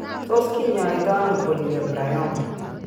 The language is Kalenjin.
Tos' kiny'aaytonano polyembryoma?